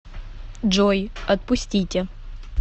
джой отпустите